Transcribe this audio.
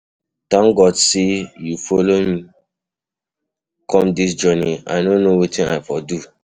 Thank God say you follow me come dis journey, I no know wetin I for do.